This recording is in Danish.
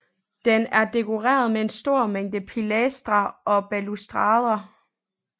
Den er dekoreret med en stor mængde pilastre og balustrader